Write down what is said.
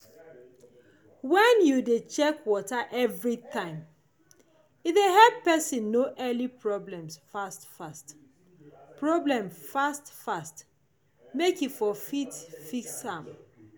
when you de check water everytime e de help person know early problem fast fast problem fast fast make e for fit quick fix am